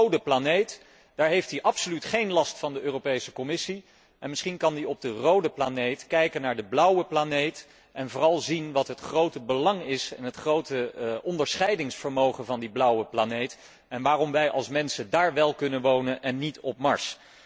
Op de rode planeet heeft hij absoluut geen last van de Europese Commissie en misschien kan hij vanuit die rode planeet kijken naar de blauwe planeet en vooral zien wat het grote belang en het grote onderscheidingsvermogen van die blauwe planeet is en waarom wij mensen daar wél kunnen wonen en niet op Mars.